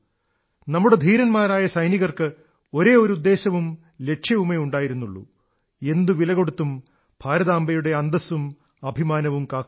നമ്മുടെ ധീരന്മാരായ സൈനികർക്ക് ഒരേ ഒരു ഉദ്ദേശ്യവും ലക്ഷ്യവുമേ ഉണ്ടായിരുന്നുള്ളൂ എന്തു വിലകൊടുത്തും ഭാരതാംബയുടെ അന്തസ്സും അഭിമാനവും കാക്കുക